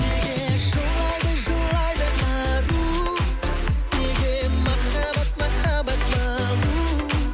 неге жылайды жылайды ару неге махаббат махаббат балу